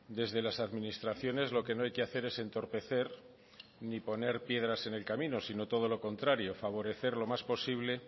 desde las administraciones lo que no hay que hacer es entorpecer ni poner piedras en el camino sino todo lo contrario favorecer lo más posible